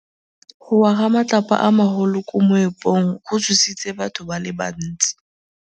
Go wa ga matlapa a magolo ko moepong go tshositse batho ba le bantsi.